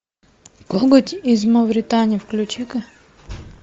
коготь из мавритании включи ка